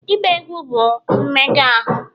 ịgba egwu bụ mmega ahụ